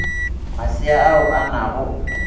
masea ao a na go